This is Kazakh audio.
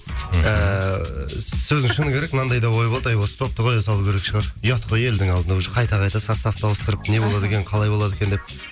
ііі сөздің шыны керек мынандай да ой болды әй осы топты қоя салу керек шығар ұят қой елдің алдында уже қайта қайта составты ауыстырып не болады екен қалай болады екен деп